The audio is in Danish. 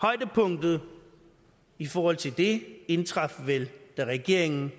højdepunktet i forhold til det indtraf vel da regeringen